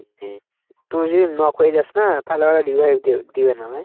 তুই যদি knock হয়ে যাস না, তাহলে ওরা revive দিও দিবে না?